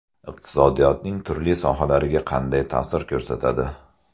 Iqtisodiyotning turli sohalariga qanday ta’sir ko‘rsatadi?